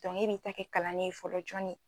Dɔnke e b'i ta kɛ kalanni ye fɔlɔ jɔni